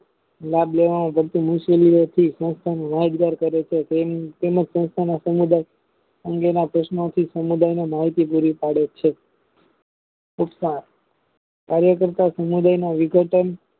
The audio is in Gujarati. લાભ લેવા માં કરતી મુશ્કેલીઓ થી સંસ્થાને યાદગાર કરે છે તેમજ સંસ્થા સમુદાય અંગેના પ્રશ્ર્નોથી સમુદાય ની મળતી પુરી પાડે છે તથા કાર્ય કરતા સમુદાય ના વિઘટન